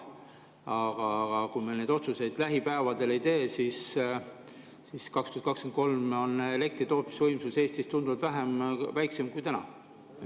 Aga kui me neid otsuseid lähipäevadel ei tee, siis 2023 on elektritootmise võimsus Eestis tunduvalt väiksem kui täna.